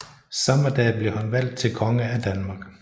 Samme dag blev han valgt til konge af Norge